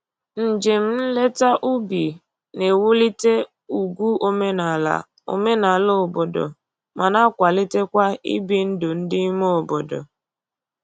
Njem nleta ubi na-ewulite ugwu omenala omenala obodo ma na-akwalitekwa ibi ndụ ndị ime obodo